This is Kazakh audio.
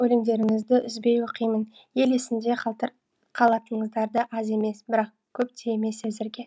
өлеңдеріңізді үзбей оқимын ел есінде қалатыңыздарды аз емес бірақ көп те емес әзірге